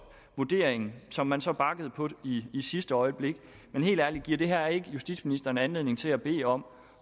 vurderingen som man så bakkede på i sidste øjeblik men helt ærligt giver det her ikke justitsministeren anledning til at bede om